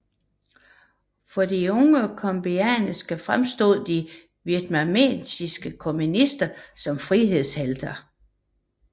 For de unge cambodjanere fremstod de vietnamesiske kommunister som frihedshelte